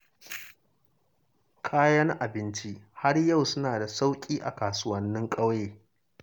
Kayan abinci har yau suna da sauƙi a kasuwannin ƙauye.